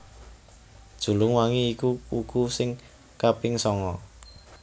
Julung wangi iku wuku sing kaping sanga